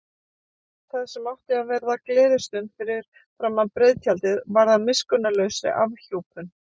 Það sem átti að verða gleðistund fyrir framan breiðtjaldið varð að miskunnarlausri afhjúpun.